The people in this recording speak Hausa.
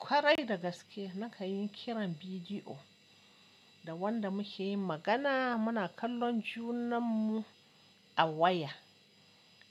Kwarai da gaske na kan yi kiran bidiyo da wanda mu ke yin magana. Mu na kallon junan mu a waya